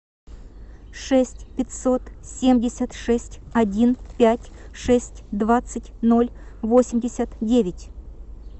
шесть пятьсот семьдесят шесть один пять шесть двадцать ноль восемьдесят девять